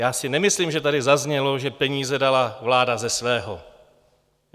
Já si nemyslím, že tady zaznělo, že peníze dala vláda ze svého.